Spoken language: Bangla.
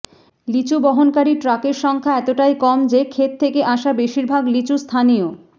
লিচু বহনকারী ট্রাকের সংখ্যা এতটাই কম যে ক্ষেত থেকে আসা বেশিরভাগ লিচু স্থানীয়